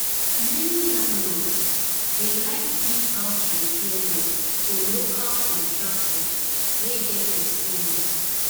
many landlords dey like give house repair work to local contractors wey get experience.